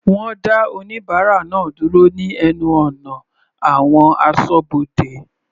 Wọ́n dá oníbárà náà dúró ní ẹnu ọ̀nà àwọn asọ́bodè.